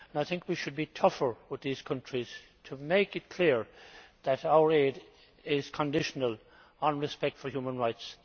I think we should be tougher with these countries, to make it clear that our aid is conditional on respect for human rights.